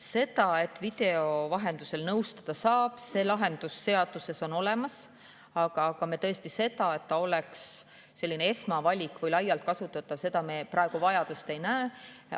See lahendus, et video vahendusel nõustada saab, on seaduses olemas, aga selle järele, et see oleks selline esmavalik või laialt kasutatav, me praegu vajadust ei näe.